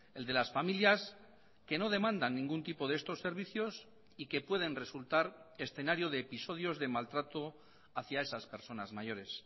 el de las familias que no demandan ningún tipo de estos servicios y que pueden resultar escenario de episodios de maltrato hacia esas personas mayores